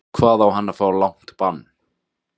Hvað á hann að fá langt bann?